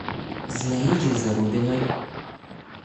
зинаиде зарубиной